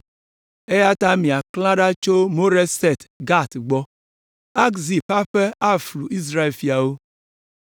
Eya ta miaklã ɖa tso Moreset Gat gbɔ. Akzib ƒe aƒe aflu Israel fiawo.